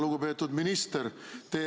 Lugupeetud minister!